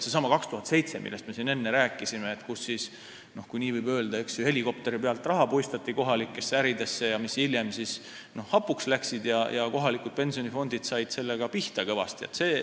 Seesama 2007, millest me siin enne rääkisime, kui helikopteri pealt puistati, kui nii võib öelda, kohalikesse äridesse raha, mis hiljem hapuks läks, ja kohalikud pensionifondid said sellega kõvasti pihta.